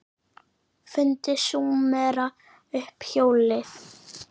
Fundu Súmerar upp hjólið?